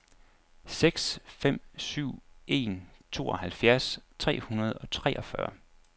seks fem syv en tooghalvfjerds tre hundrede og treogfyrre